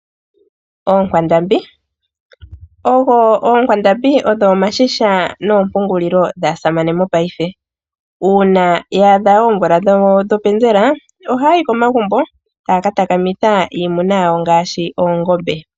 Oonkwandambi odho omashisha noompungulilo dhaasamane mopaife. Uuna ya adha oomvula dhopenzela ohaya yi komagumbo taya ka takamitha iimuna yawo ngaashi oongombe.